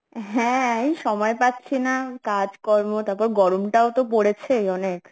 হ্যাঁ এই সময় পাচ্ছি না কাজকর্ম তারপর গরমটাও তো পরেছে অনেক